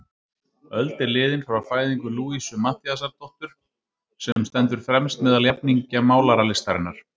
Öld er liðin frá fæðingu Louisu Matthíasdóttur, sem stendur fremst meðal jafningja málaralistarinnar.